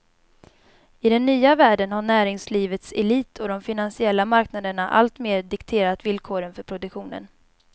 I den nya världen har näringslivets elit och de finansiella marknaderna alltmer dikterat villkoren för produktionen.